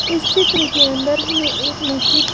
इस चित्र के अंदर हमें एक मस्जिद --